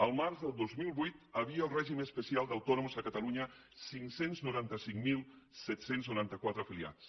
el març del dos mil vuit hi havia al règim especial d’autònoms a catalunya cinc cents i noranta cinc mil set cents i noranta quatre afiliats